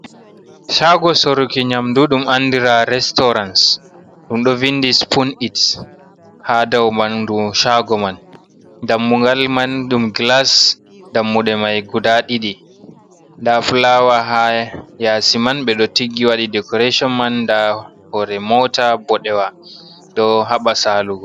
Shago soruki nyamɗu ɗum anɗira restaurans. Ɗum ɗo vinɗi supon its ha ɗaumanɗu shago man. Ɗammugal man ɗum gilas. Ɗammude mai guɗa ɗi. Nɗa fulawa ha yasi man. Be ɗo tiggi waɗi dekorashon man. Nɗa hore mota boɗewa ɗo haba salugo.